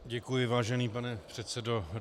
Děkuji, vážený pane předsedo.